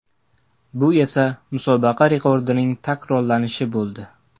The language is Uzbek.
Bu esa musobaqa rekordining takrorlanishi bo‘ldi.